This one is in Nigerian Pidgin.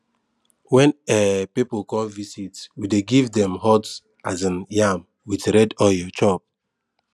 when um people come visit we dey give dem hot um yam with red oil chop